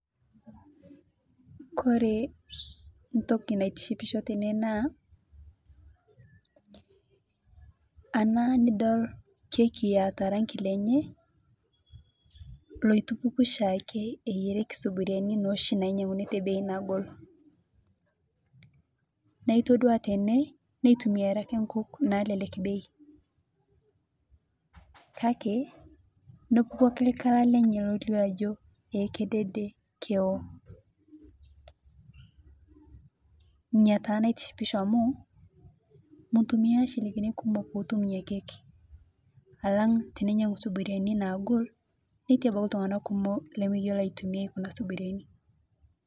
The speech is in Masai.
Kore entoki naitishipisho tene naa ana nidol keki eeta orangi lenye loitupuku oshiake eyierieki sufuriani noshi nainyanguni te bei nagol naitodua tene nitumiae nkukuk nalekek bei kake nepuko ake ele kala lenye laijo kedede eo ina taa naitishipisho amu mitumia nchilingini kumok otumiebkeki alang teninyangu thufuriani nagol ltunganak kumol lemeyiolo aitobirie.